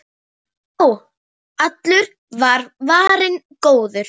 Já, allur var varinn góður!